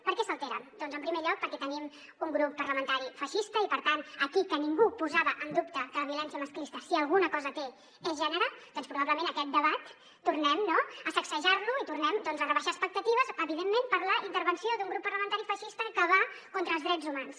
per què s’alteren doncs en primer lloc perquè tenim un grup parlamentari feixista i per tant aquí que ningú posava en dubte que la violència masclista si alguna cosa té és gènere doncs probablement aquest debat tornem a sacsejar lo i tornem a rebaixar expectatives evidentment per la intervenció d’un grup parlamentari feixista que va contra els drets humans